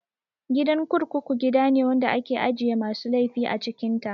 Gidan kurkuku gidane wanda ake ajiye masu laifi a cikin ta